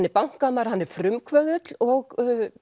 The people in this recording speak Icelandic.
er bankamaður hann er frumkvöðull og